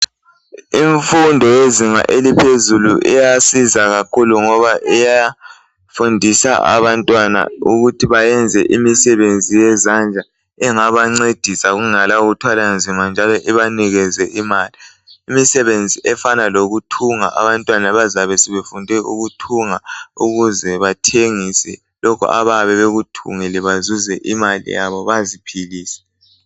Imfundo yezinga eliphezulu iyasiza kakhulu ngoba iyafundisa abantwana ukuthi bayenze imisebenzi yezandla engabancedisa kungela kuthwala nzima ibanikeze imali. Imisebenzi efana lokuthunga abantwana bazabe sebefunde ukuthunga ukuze bathengise lokhu abayabe bekuthungile bazuze imali yabo baziphilise.